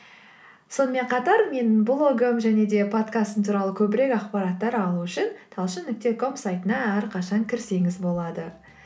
сонымен қатар менің блогым және де подкастым туралы көбірек ақпараттар алу үшін талшын нүкте ком сайтына әрқашан кірсеңіз болады